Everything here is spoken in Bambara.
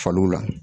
Faliw la